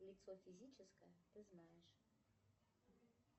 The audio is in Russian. лицо физическое ты знаешь